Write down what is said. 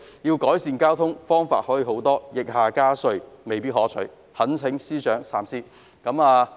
要改善交通，還有很多方法，疫下加稅，未必可取，懇請司長三思。